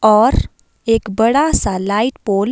और एक बड़ा सा लाइट पोल --